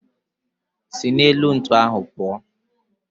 Si n'elu ntu ahu puo.